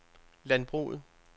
landbruget